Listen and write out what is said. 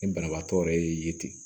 Ni banabaatɔ yɛrɛ y'i ye ten